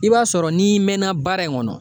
I b'a sɔrɔ n'i mɛnna baara in kɔnɔ